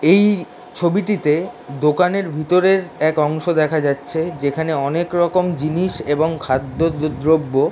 এই ছবিটিতে দোকানের ভিতরের এক অংশ দেখা যাচ্ছে যেখানে অনেক রকম জিনিস এবং খাদ্য-দ্রব্য।